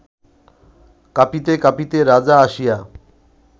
কাঁপিতে কাঁপিতে রাজা আসিয়া